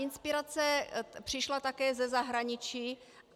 Inspirace přišla také ze zahraničí.